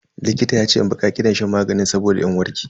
Likitan yace in bi ka'idar shan maganin saboda in warke.